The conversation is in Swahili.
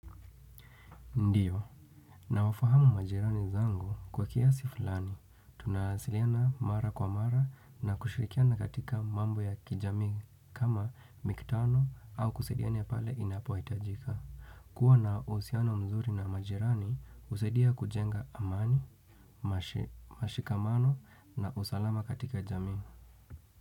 Ndio. Nawafahamu majirani zangu kwa kiasi fulani. Tunawasiliana mara kwa mara na kushirikiana katika mambo ya kijamii kama mikutano au kusadiana pale inapohitajika. Kuwa na uhusiano mzuri na mzuri na majirani, husaidia kujenga amani, mashikamano na usalama katika jamii.